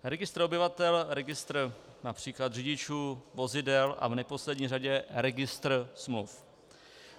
Registr obyvatel, registr například řidičů, vozidel a v neposlední řadě registru smluv.